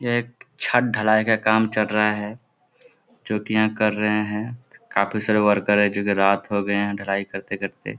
यह एक छत ढलाई का काम चल रहा है । जो कि यहाँ कर रहे हैं | काफी सारे वर्कर हैं । जो कि रात हो गए हैं ढलाई करते करते ।